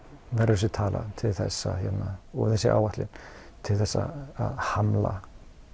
verður þessi tala til þess að og þessi áætlun til þess að hamla